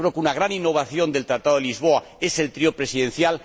Yo creo que una gran innovación del Tratado de Lisboa es el Trío de Presidencias.